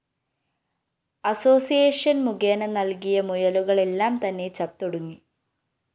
association‍ മുഖേന നല്‍കിയ മുയലുകളെല്ലാം തന്നെ ചത്തൊടുങ്ങി